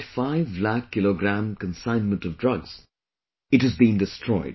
5 lakh kg consignment of drugs, it has been destroyed